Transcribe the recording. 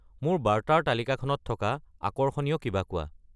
মোক বাৰ্তাৰ তালিকাখনত থকা আকৰ্ষণীয় কিবা কোৱা